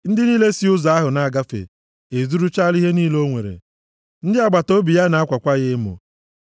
Ndị niile si ụzọ ahụ na-agafe, ezuruchaala ihe niile o nwere. Ndị agbataobi ya na-akwakwa ya emo.